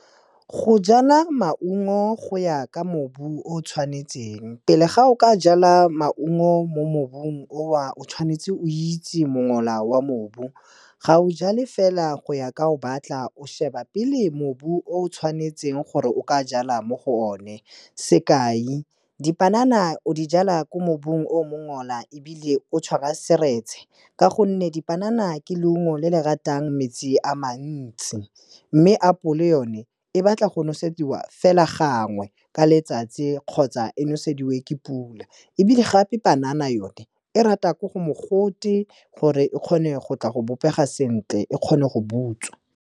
Go jala maungo go ya ka mobu o tshwanetseng, pele ga o ka jala maungo mo mobung o na, o tshwanetse o itse mola wa mobu, ga o jale fela go ya ka o batla, o sheba pele mobu o tshwanetseng gore o ka jala mo go one. Sekai, dipanana o di jala ko mobung o mongola ebile o tshwara seretse ka gonne dipanana ke leungo le le ratang metsi a mantsi. Mme apole yone, e batla go nosediwa fela gangwe ka letsatsi kgotsa e nosediwe ke pula ebile gape panana yone, e rata ko go mogote gore e kgone go tla go bobega sentle e kgone go butswa.